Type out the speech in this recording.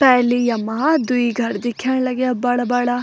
पहली यमा द्वि घर दिखेंण लग्याँ बड़ा-बड़ा।